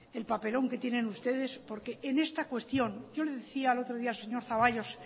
el papelón que tienen ustedes porque en esta cuestión yo le decía el otro día al señor zaballos